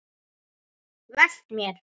Velt mér.